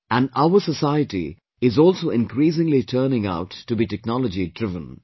And our society is also increasingly turning out to be technology driven